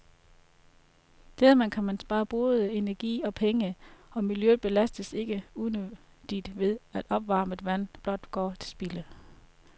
Dermed kan man spare både energi og penge, og miljøet belastes ikke unødigt ved, at opvarmet vand blot går til spilde.